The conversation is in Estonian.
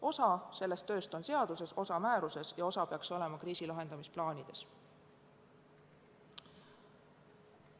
Osa sellest tööst on seaduses, osa määruses ja osa peaks olema kriisi lahendamise plaanides.